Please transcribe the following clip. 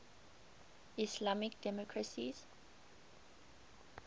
islamic democracies